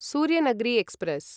Suryanagari express